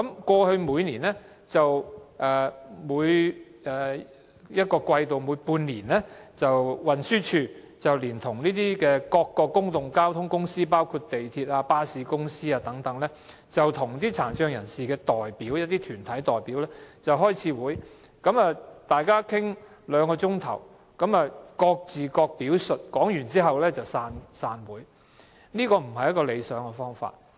過去，運輸署每半年會聯同各公共交通公司，包括港鐵公司和巴士公司等，與殘疾人士的代表團體開會，會上大家討論兩小時，各自表述意見後便散會，這並非理想做法。